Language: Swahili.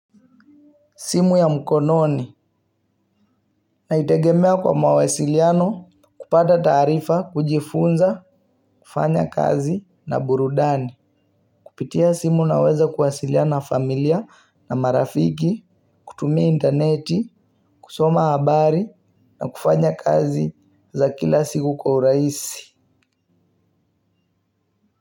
Simu ya mkononi naitegemea kwa mawasiliano kupata taarifa kujifunza, kufanya kazi na burudani. Kupitia simu naweza kuwasiliana familia na marafiki, kutumia interneti, kusoma habari na kufanya kazi za kila siku kwa urahisi.